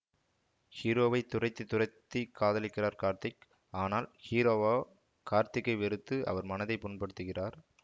ஹீரோவை துரத்தி துரத்தி காதலிக்கிறார் கார்த்திக் ஆனால் ஹீரோவோ கார்த்திக்கை வெறுத்து அவர் மனதை புண்படுத்துகிறார்